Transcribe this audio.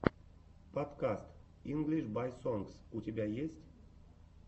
подкаст инглиш бай сонгс у тебя есть